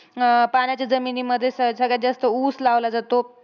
अं पाण्याच्या जमिनीमध्ये सग सगळ्या जास्त ऊस लावला जातो.